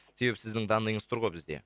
себебі сіздің данныйыңыз тұр ғой бізде